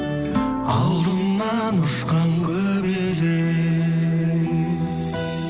алдымнан ұшқан көбелек